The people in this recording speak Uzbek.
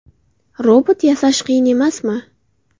Robot yasash qiyin emasmi?